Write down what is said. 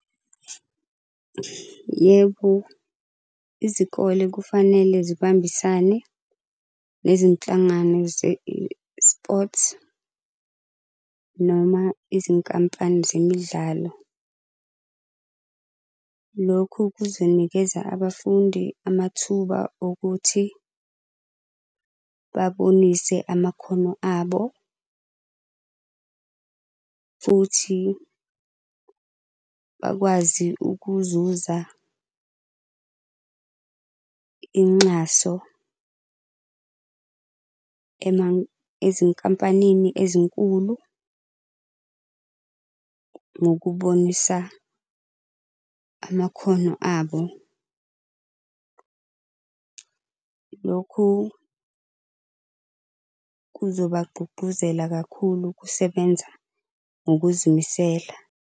Yebo, izikole kufanele zibambisane nezinhlangano ze-eSports noma izinkampani zemidlalo. Lokhu kuzonikeza abafundi amathuba okuthi babonise amakhono abo, futhi bakwazi ukuzuza inxaso ezinkampanini ezinkulu ngokubonisa amakhono abo. Lokhu kuzobagqugquzela kakhulu kusebenza ngokuzimisela.